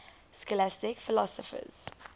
scholastic philosophers